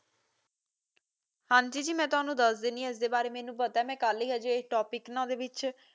ਹਾਜੀ ਜੀ ਮੈ ਤੈਨੂੰ ਦੱਸਦੇਣੀ ਇਸਦੇ ਬਾਰੇ ਮੈਨੂੰ ਪਤਾ ਹੈ ਮੈ ਕੱਲ ਹੀ ਅਜੇ TOPIC ਵਿੱਚ